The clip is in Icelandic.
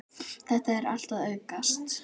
Þetta er allt að aukast.